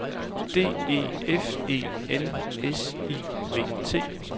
D E F E N S I V T